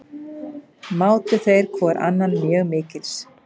Mátu þeir hvor annan mjög mikils.